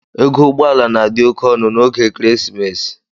Ego ụgbọ ala n'adi oke ọnụ n'oge ekeresimesi.